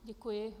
Děkuji.